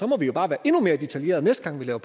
må vi jo bare være endnu mere detaljerede næste gang vi laver